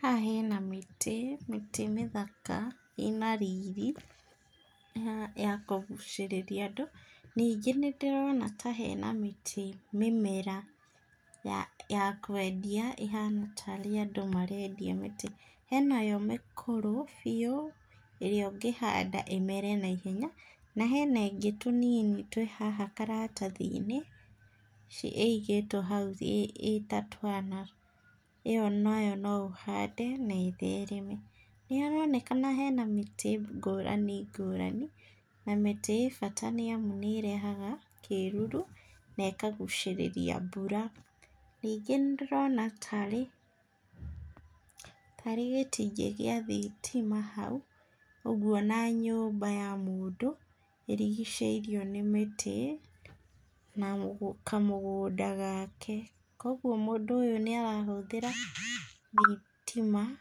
Haha hena mĩtĩ, mĩtĩ mĩthaka ĩna riri, ya kũgũcĩrĩria andũ, ningĩ nĩ ndĩrona ta hena mĩtĩ mĩmera ya kwendia, ĩhana tarĩ andũ marendia mĩtĩ, he nayo mĩkũrũ biu ĩrĩa ũngĩhanda na ĩmere naihenya na hena ĩngĩ tũnini twĩ haha karatathi-inĩ, ĩigĩtwo hau ĩta twana, ĩyo nayo no ũhande na ĩthereme, nĩ haronekana hena mĩtĩ ngũrani ngũrani, na mĩtĩ ĩ bata nĩ amũ nĩ ĩrehaga kĩruru na ĩkagũcĩrĩria mbura, ningĩ nĩndĩrona nĩ tarĩ gĩtingĩ gĩa thitima hau ũguo ona nyũmba ya mũndũ ĩrigicĩirio nĩ mĩtĩ na kamũgũnda gake, kũguo mũndũ ũyũ nĩ arahũthĩra thitima,